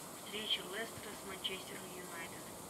встреча лестера с манчестер юнайтед